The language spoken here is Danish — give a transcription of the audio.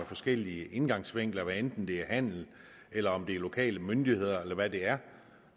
forskellige indgangsvinkler hvad enten det er handlen eller er lokale myndigheder eller hvad det er